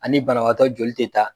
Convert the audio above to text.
Ani banabagatɔ joli tɛ taa.